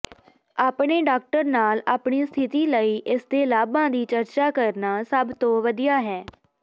ਆਪਣੇ ਡਾਕਟਰ ਨਾਲ ਆਪਣੀ ਸਥਿਤੀ ਲਈ ਇਸਦੇ ਲਾਭਾਂ ਦੀ ਚਰਚਾ ਕਰਨਾ ਸਭ ਤੋਂ ਵਧੀਆ ਹੈ